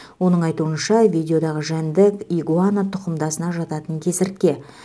оның айтуынша видеодағы жәндік игуана тұқымдасына жататын кесіртке